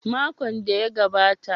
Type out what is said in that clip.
Makon da ya gabata.